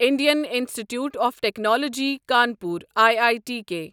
Indian institute of technology Kanpur I I T K